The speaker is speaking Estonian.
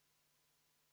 Austatud Riigikogu!